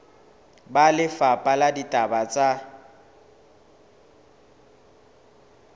ba lefapha la ditaba tsa